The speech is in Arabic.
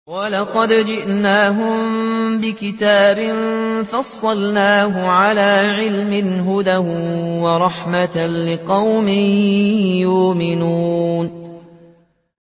وَلَقَدْ جِئْنَاهُم بِكِتَابٍ فَصَّلْنَاهُ عَلَىٰ عِلْمٍ هُدًى وَرَحْمَةً لِّقَوْمٍ يُؤْمِنُونَ